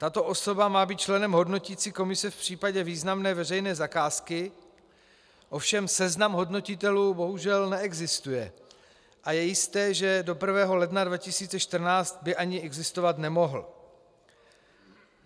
Tato osoba má být členem hodnoticí komise v případě významné veřejné zakázky, ovšem seznam hodnotitelů bohužel neexistuje a je jisté, že do 1. ledna 2014 by ani existovat nemohl.